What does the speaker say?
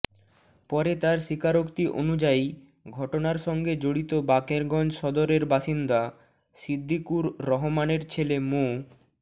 পরে তার স্বীকারোক্তি অনুযায়ী ঘটনার সঙ্গে জড়িত বাকেরগঞ্জ সদরের বাসিন্দা সিদ্দিকুর রহমানের ছেলে মো